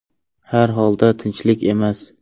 Har holda, tinchlik emas .